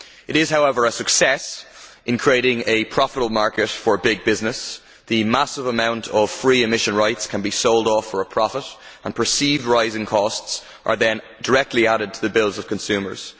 It is, however, a success in creating a profitable market for big business. The massive amount of free emission rights can be sold off for a profit and perceived rising costs are then directly added to the bills of consumers.